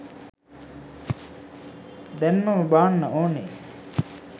දෑන්මම බාන්න ඕනේ.